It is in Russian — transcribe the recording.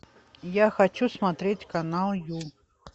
я хочу смотреть канал ю